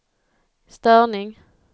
störning